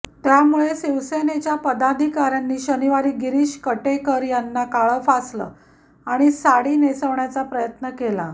त्यामुळे शिवसेनेच्या पदाधिकाऱ्यांनी शनिवारी शिरीष कटेकर यांना काळं फासलं आणि साडी नेसवण्याचा प्रयत्न केला